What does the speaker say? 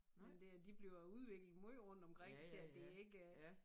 Men det de bliver udviklet måj rundt omkring til at det ikke er